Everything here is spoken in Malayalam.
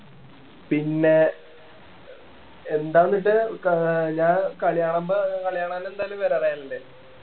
പിന്നെ എന്താന്ന് വെച്ചാ ക ആഹ് ഞാ കളികാണുമ്പോ കളി കാണാൻ എന്തായാലും വരാ റയലിൻറെ